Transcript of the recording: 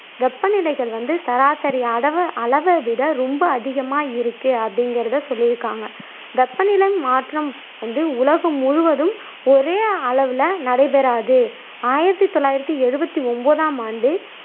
வெப்பநிலைகள் வந்து சராசரி அதவ அளவைவிட ரொம்ப அதிகமா இருக்கே அப்படிங்குறதை சொல்லியிக்காங்க வெப்பநிலை மாற்றம் வந்து உலகம் முழுவதும் ஒரே அளவுல நடைபெறாது ஆயிரத்தி தொள்ளாயிரத்தி எழுவத்தி ஒன்பதாம் ஆண்டு